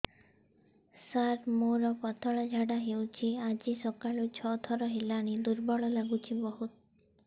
ସାର ମୋର ପତଳା ଝାଡା ହେଉଛି ଆଜି ସକାଳୁ ଛଅ ଥର ହେଲାଣି ଦୁର୍ବଳ ଲାଗୁଚି ବହୁତ